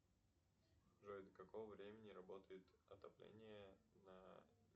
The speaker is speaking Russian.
джой до какого времени работает отопление на